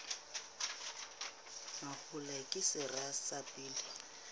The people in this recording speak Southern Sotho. mahola ke sera sa pele